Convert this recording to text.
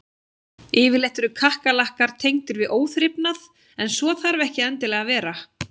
Yfirleitt eru kakkalakkar tengdir við óþrifnað en svo þarf ekki endilega að vera.